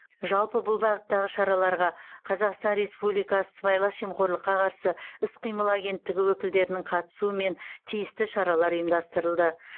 жалпы бұл бағыттағы шараларға қазақстан республикасы сыбайлас жемқорлыққа қарсы іс қимыл агенттігі өкілдерінің қатысумен тиісті шаралар ұйымдастырылды